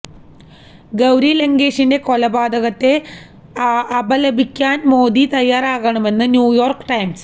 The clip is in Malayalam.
ഗൌരി ലങ്കേഷിന്റെ കൊലപാതകത്തെ അപലപിക്കാന് മോദി തയ്യാറാകണമെന്ന് ന്യുയോര്ക്ക് ടൈംസ്